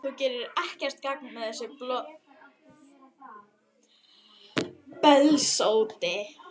Þú gerir ekkert gagn með þessu bölsóti,